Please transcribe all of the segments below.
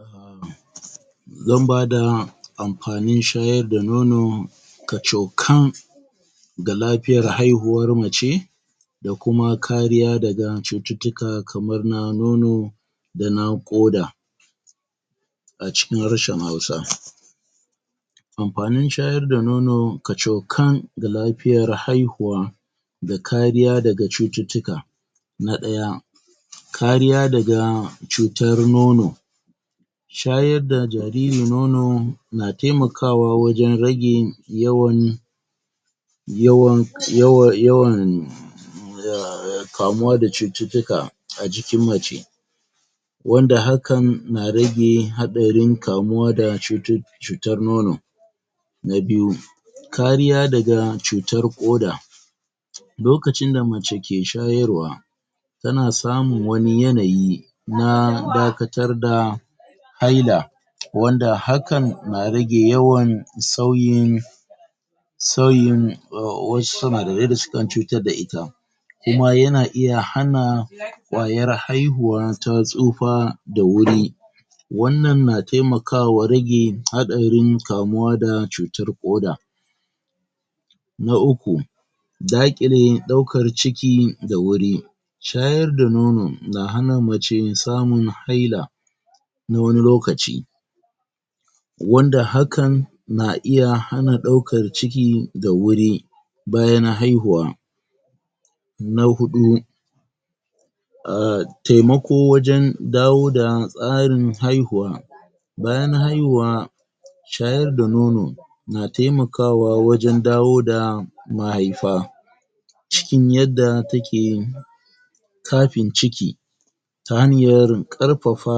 um Zan bada amfanin shayar da nono kacokan ga lafiyar haihuwar mace da kuma kariya daga cututtuka kamar na nono da na ƙoda a cikin harshen Hausa Amfanin shayar da nono kacokan ga lafiyar haihuwa da kariya daga cututtuka Na ɗaya Kariya daga cutar nono shayar da jariri nono na temakawa wajen rage yawan yawan yawa yawan um kamuwa da cututtuka a jikin mace wanda hakan na rage haɗarin kamuwa da cutu, cutar nono Na biyu kariya daga cutar ƙoda Lokacin da mace ke shayarwa tana samun wani yanayi na dakatar da haila wanda hakan na rage yawan sauyin sauyin um wasu sinadarai da sukan cutar da ita kuma yana iya hana ƙwayar haihuwa ta tsufa da wuri wannan na temakawa rage haɗarin kamuwa da cutar ƙoda Na uku daƙile ɗaukar ciki da wuri shayar da nono na hana mace samun haila na wani lokaci wanda hakan na iya hana ɗaukar ciki da wuri bayan haihuwa Na huɗu um temako wajen dawo da tsarin haihuwa bayan haihuwa shayar da nono na temakawa wajen dawo da mahaifa cikin yadda take kafin ciki ta hanyar ƙarfafa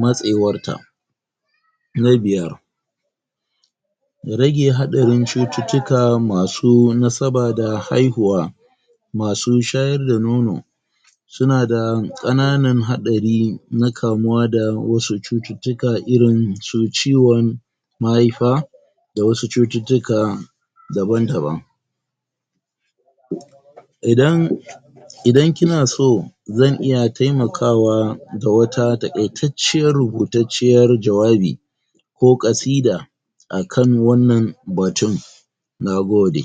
matsewarta Na biyar Rage haɗarin cututtuka masu nasaba da haihuwa masu shayar da nono sunada ƙananan haɗari na kamuwa da wasu cututtuka irinsu ciwon mahaifa da wasu cututtuka daban-daban idan idan kinaso zan iya taimakawa da wata taƙaitacciya, rubutacciyar jawabi ko ƙasida akan wannan batun nagode.